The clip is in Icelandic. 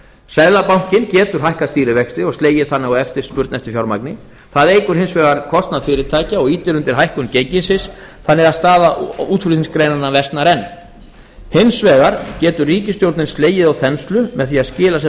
seðlabankinn getur hækkað stýrivexti og slegið þannig á eftirspurn eftir fjármagni það eykur hins vegar kostnað fyrirtækja og ýtir undir hækkun gengisins þannig að staða útflutningsgreinanna versnar enn hins vegar getur ríkisstjórnin slegið á þenslu með því að skila sem